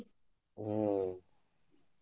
ಹ್ಮ.